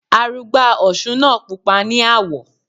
Arugbá òsun náà pupa ní àwọ̀.